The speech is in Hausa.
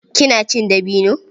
Kina cin dabino?